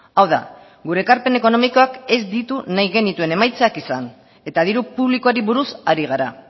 hau da gure ekarpen ekonomikoak ez ditu nahi genituen emaitzak izan eta diru publikoari buruz ari gara